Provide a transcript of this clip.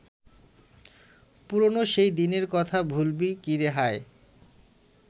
পুরানো সেই দিনের কথা ভুলবি কিরে হায়